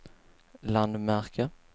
landmärke